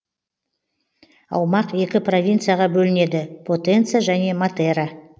аумақ екі провинцияға бөлінеді потенца және матера